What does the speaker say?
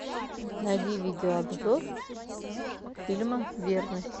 найди видеообзор фильма верность